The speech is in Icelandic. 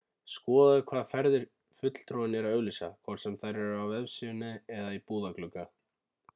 skoðaðu hvaða ferðir fulltrúinn er að auglýsa hvort sem þær eru á vefsíðu eða í búðarglugga